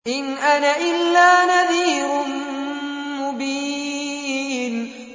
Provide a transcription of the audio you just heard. إِنْ أَنَا إِلَّا نَذِيرٌ مُّبِينٌ